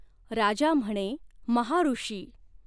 राजा म्हणे महाऋषी।